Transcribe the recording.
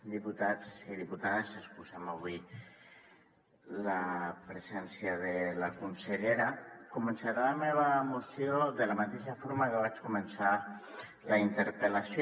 diputats i diputades excusem avui la presència de la consellera començaré la meva moció de la mateixa forma que vaig començar la interpel·lació